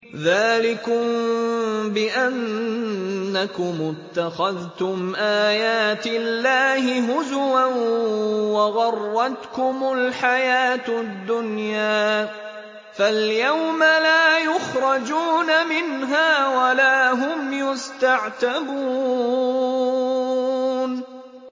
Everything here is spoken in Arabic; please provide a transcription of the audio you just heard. ذَٰلِكُم بِأَنَّكُمُ اتَّخَذْتُمْ آيَاتِ اللَّهِ هُزُوًا وَغَرَّتْكُمُ الْحَيَاةُ الدُّنْيَا ۚ فَالْيَوْمَ لَا يُخْرَجُونَ مِنْهَا وَلَا هُمْ يُسْتَعْتَبُونَ